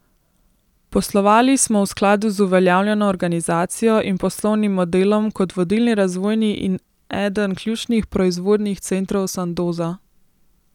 Poslovali smo v skladu z uveljavljeno organizacijo in poslovnim modelom kot vodilni razvojni in eden ključnih proizvodnih centrov Sandoza.